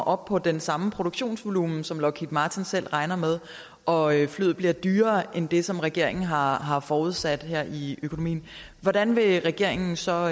op på den samme produktionsvolumen som lockheed martin selv regner med og flyet bliver dyrere end det som regeringen har har forudsat her i økonomien hvordan vil regeringen så